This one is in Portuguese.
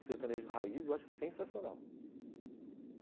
O sertanejo raiz eu acho sensacional.